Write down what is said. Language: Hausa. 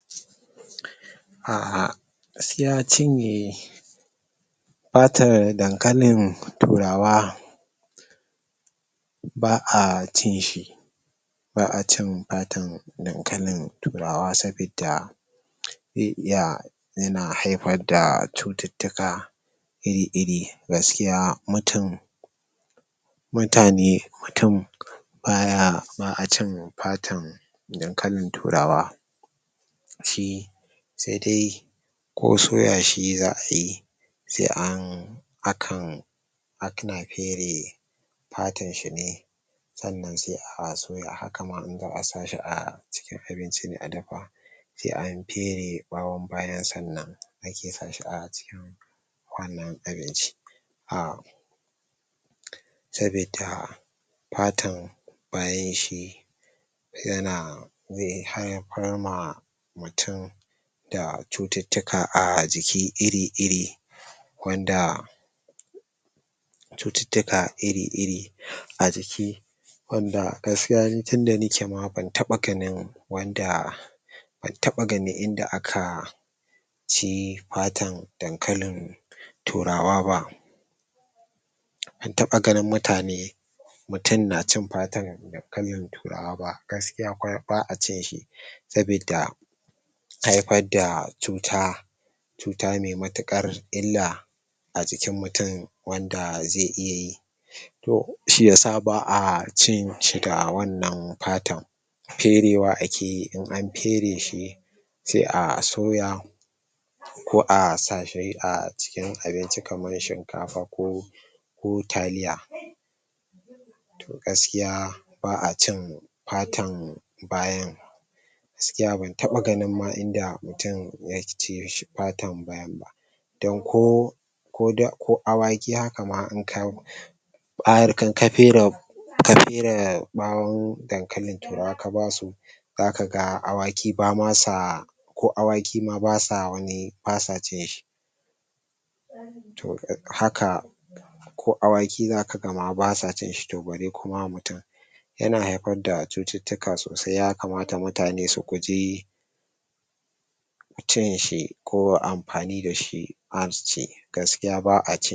um gaskiya cinye fatar dankalin turawa ba a cin shi ba acin fatan dankalin turawa sabi da ze iya yana haifar da cututtuka iri iri gaskiya mutun mutane mutun baya ba acin fatan dan kalin turawa shi se dai ko soyashi za ayi se an hakan akana fele fatan shine sannan se a soya hakama in za a sashi acikin abinci ne adafa se an fere ɓayo bayan sannan ake sashi acikin wannan abinci um sabida fatan bayan shi yana yi har ya farma tin da cututtuka ajiki iri iri wanda cututtuka iri iri ajiki wanda gaskiya ni tinda nake ma ban taɓa ganin wanda ban taɓa ganin inda aka ci fatan dankalin turawa ba ban taɓa ganin mutane mutun na cin fatan dankalin turawa ba gaskiya ƙwarai ba acinshi sabidda hai far da cuta cuta me matiƙar illa ajikin mutun wanda ze iya yi to shi yasa ba acinshi da wannan fatan ferewa akeyi in an fere shi se a soya ko a sashi acikin abinci kaman shinkafa ko ko taliya gaskiay ba a cin fatan bayan gaskiya ban taɓa ganin ma inda mutun yake cin fatan bayanba dan ko ko awaki haka ma inka kafere ka fere ɓawon dankalin turawa kabasu zaka ga awaki bama sa ko awaki basa wani basa cin shi to haka ko awaki zakagama basa cinshi to bare ma mutun yana haifar da cututtuka sosai yakamata mutane su guji cin shi ko amfani dashi basaci gaskiya ba a cin